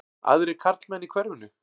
Aðrir karlmenn í hverfinu?